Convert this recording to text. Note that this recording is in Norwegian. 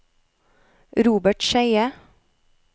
Robert Skeie